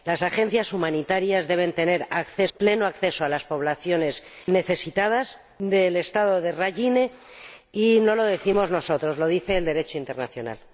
Las agencias humanitarias deben tener pleno acceso a las poblaciones necesitadas del Estado de Rakhine, y no lo decimos nosotros, lo dice el Derecho internacional.